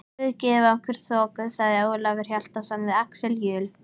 Guð gefi okkur þoku, sagði Ólafur Hjaltason við Axel Jul.